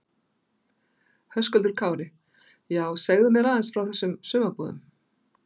Höskuldur Kári: Já, segðu mér aðeins frá þessum sumarbúðum?